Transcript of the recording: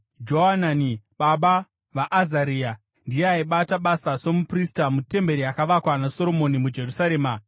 Johanani baba vaAzaria. (Ndiye aibata basa somuprista mutemberi yakavakwa naSoromoni muJerusarema.)